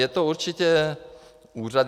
Je to určitě úřad...